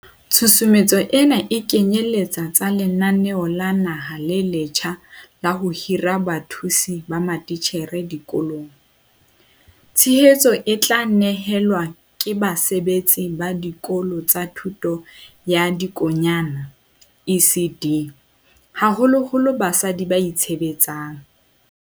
Tshusumetso ena e kenyele tsa lenaneo la naha le letjha la ho hira bathusi ba matitjhere dikolong. Tshehetso e tla ne helwa ke basebetsi ba Dikolo tsa Thuto ya Dikonyana ECD, haholoholo basadi ba itshebetsang.